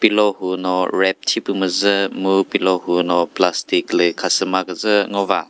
pillow huno wrap thipü müzü mu pillow huno plastic lü khasüma küzü ngova.